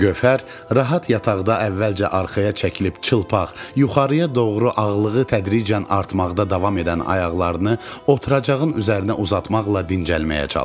Gövhər rahat yataqda əvvəlcə arxaya çəkilib çılpaq yuxarıya doğru ağırlığı tədricən artmaqda davam edən ayaqlarını oturacağın üzərinə uzatmaqla dincəlməyə çalışdı.